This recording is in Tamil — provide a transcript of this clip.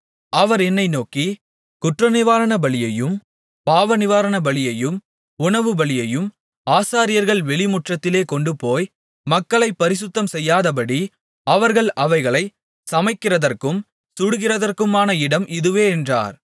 அவர் என்னை நோக்கி குற்றநிவாரணபலியையும் பாவநிவாரணபலியையும் உணவுபலியையும் ஆசாரியர்கள் வெளிமுற்றத்திலே கொண்டுபோய் மக்களைப் பரிசுத்தம்செய்யாதபடி அவர்கள் அவைகளைச் சமைக்கிறதற்கும் சுடுகிறதற்குமான இடம் இதுவே என்றார்